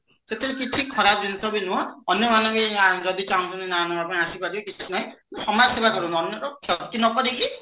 ସେଥିରେ କିଛି ଖରାପ ଜିନିଷ ବି ନୁହଁ ଅନ୍ୟମାନେ ବି ଯଦି ଚାହୁଁଛନ୍ତି ନାଁ ନବା ପାଇଁ ଆସିପାରିବେ କିଛି ନାହିଁ ସମାଜସେବା କରନ୍ତୁ ଅନ୍ୟର କ୍ଷତି ନ କରିକି